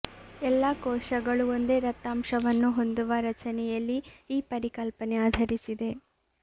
ಎಲ್ಲ ಕೋಶಗಳು ಒಂದೇ ದತ್ತಾಂಶವನ್ನು ಹೊಂದುವ ರಚನೆಯಲ್ಲಿ ಈ ಪರಿಕಲ್ಪನೆ ಆಧರಿಸಿದೆ